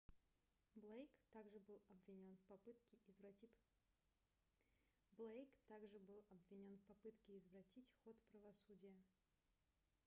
блейк так же был обвинён в попытке извратить ход правосудия